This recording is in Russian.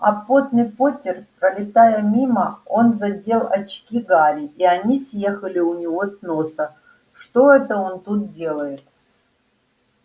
а потный поттер пролетая мимо он задел очки гарри и они съехали у него с носа что это он тут делает